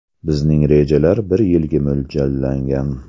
Bizning rejalar bir yilga mo‘ljallangan.